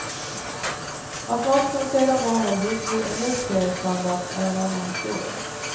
Att matchen sedan bara höll hygglig elitseriestandard är en annan historia.